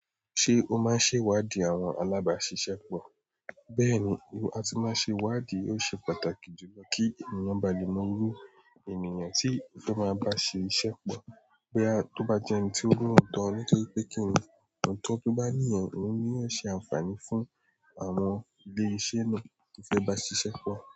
Ṣé o máa ń ṣe ìwádìí àwọn alábàáṣiṣẹ́pọ̀? Bẹ́ẹ̀ni, ìwà atí máa ṣe ìwádìí ò ṣe pàtàkì jùlọ kí ènìyàn ba lè mọ irú ènìyàn tí ó fe máa bá ṣe iṣẹ́pọ̀. Bo ya tó bá jẹ́ ẹni tí ó ni ọ̀tọ̀ nítorí pé kí ènìyàn tó bá ní ènìyàn, òun ni yóò ṣe àǹfààní fún àwọn ilé iṣẹ́ náà tí fẹ́ bá ṣiṣẹ́pọ̀.